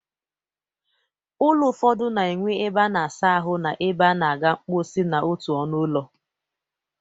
Ụlọ ụfọdụ na-enwe ebe a na-asa ahụ na ebe a na-aga mkposi n'otu ọnụ ụlọ